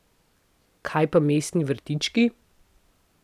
Kaj pa mestni vrtički?